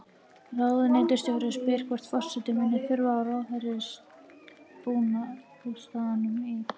Ráðuneytisstjóri spyr hvort forseti muni þurfa á Ráðherrabústaðnum í